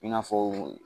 I n'a fɔ